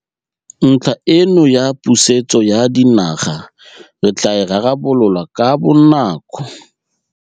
Ntlha eno ya pusetso ya dinaga re tla e rarabolola ka bonako.